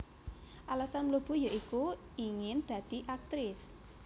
Alasan mlebu ya iku ingin dadi Akrtis